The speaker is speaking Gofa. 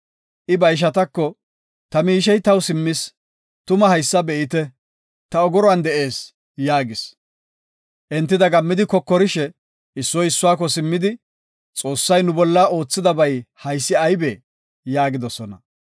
I ba ishatako, “Ta miishey taw simmis; tuma haysa be7ite; Ta ogoruwan de7ees” yaagis. Enti dagammidi kokorishe, issoy issuwako simmidi, “Xoossay nu bolla oothidabay haysi aybee?” yaagidosona.